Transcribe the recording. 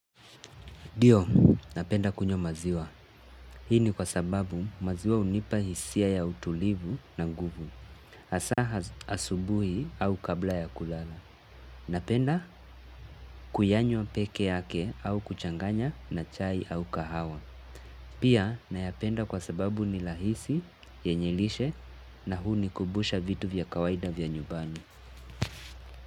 Ndio, napenda kunywa maziwa. Hii ni kwa sababu maziwa hunipa hisia ya utulivu na nguvu. Hasa asubuhi au kabla ya kulala. Napenda kuyanywa peke yake au kuchanganya na chai au kahawa. Pia, nayapenda kwa sababu ni rahisi, yenye lishe na hunikumbusha vitu vya kawaida vya nyumbani.